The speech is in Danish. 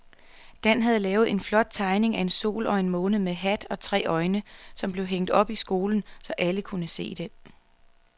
Dan havde lavet en flot tegning af en sol og en måne med hat og tre øjne, som blev hængt op i skolen, så alle kunne se den.